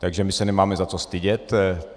Takže my se nemáme za co stydět.